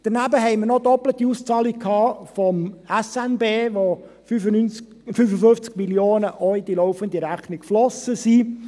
Daneben hatten wir noch eine doppelte Auszahlung der SNB, von dem 55 Prozent auch in die laufende Rechnung geflossen sind.